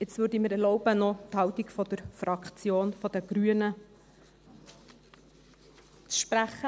Jetzt würde ich mir erlauben, noch die Haltung der Fraktion Grüne wiederzugeben.